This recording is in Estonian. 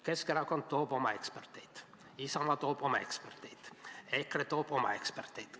Keskerakond toob oma eksperdid, Isamaa toob oma eksperdid, EKRE toob oma eksperdid.